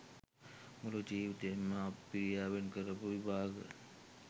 මුළු ජීවිතේම අප්පිරියාවෙන් කරපු විභාග